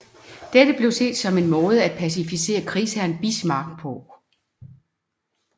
Dette blev set som en måde at pacificere krigsherren Bismarck på